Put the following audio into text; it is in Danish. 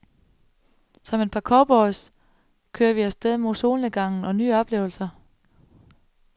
Som et par cowboys kører vi afsted mod solnedgangen og nye oplevelser.